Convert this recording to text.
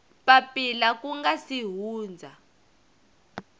papila ku nga si hundza